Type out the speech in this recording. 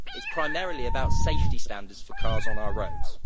It is primarily about safety standards for cars on our roads.